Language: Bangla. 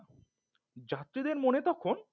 যাত্রীদের মনে তখন